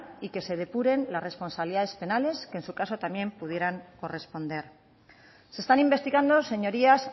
y que se depuren las responsabilidades penales que en su caso también pudieran corresponder se están investigando señorías